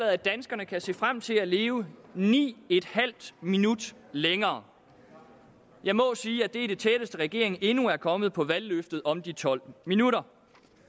at danskerne kan se frem til at leve ni en halv minut længere jeg må sige at det er det tætteste regeringen endnu er kommet på valgløftet om de tolv minutter